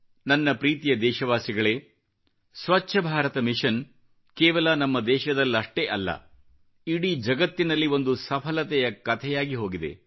ನನ್ನ ಪ್ರೀತಿಯ ದೇಶವಾಸಿಗಳೇ ಸ್ವಚ್ಚ ಭಾರತ ಮಿಶನ್ ಕೇವಲ ನಮ್ಮ ದೇಶದಲ್ಲಷ್ಟೇ ಅಲ್ಲ ಇಡೀ ಜಗತ್ತಿನಲ್ಲಿ ಒಂದು ಸಫಲತೆಯ ಕತೆಯಾಗಿ ಹೋಗಿದೆ